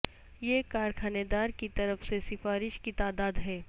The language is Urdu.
یہ کارخانہ دار کی طرف سے سفارش کی تعداد ہے